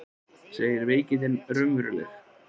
Segir veikindin raunveruleg